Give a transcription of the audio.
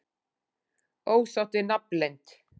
Ósátt við nafnleynd